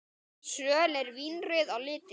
Söl eru vínrauð á litinn.